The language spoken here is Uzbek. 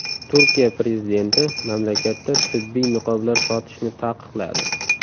Turkiya prezidenti mamlakatda tibbiy niqoblar sotishni taqiqladi.